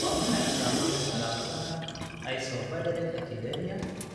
Waa maxay astaamaha iyo calaamadaha Isovaleric acidemia?